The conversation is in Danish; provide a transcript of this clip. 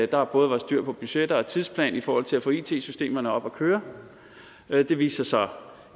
der både var styr på budgetter og tidsplan i forhold til at få it systemerne op at køre det viste sig så